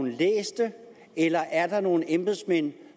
læst det eller er der nogle embedsmænd